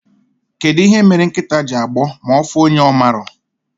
Kedụ ihe mere nkịta ji agbọ ma ọfụ onye ọmarọ?